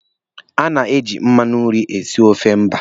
A na-eji mmanụ nri esi ofe mba.